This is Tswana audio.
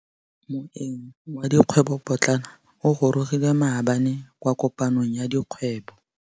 Moêng wa dikgwêbô pôtlana o gorogile maabane kwa kopanong ya dikgwêbô.